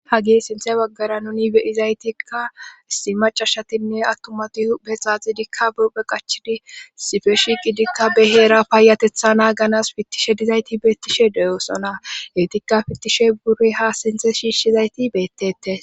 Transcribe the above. Ha gee sinthe waggara nuni beyizaytikka issi macashatinne attumati hube xaaxidikka buphe qachidi sife shi qidikka beheera paayatetha naaganas fittishe dizayti beettishe deyoosona heetikka fittishe burey ha sinthe shiishshizayti beettete